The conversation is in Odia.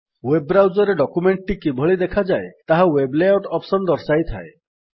ୱେବ୍ ବ୍ରାଉଜର୍ ରେ ଡକ୍ୟୁମେଣ୍ଟ୍ ଟି କିଭଳି ଦେଖାଯାଏ ତାହା ୱେବ୍ ଲେଆଉଟ୍ ଅପ୍ସନ୍ ଦର୍ଶାଇଥାଏ